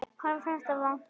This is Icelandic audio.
Honum fannst það vont.